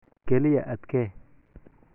Kaliya adkee.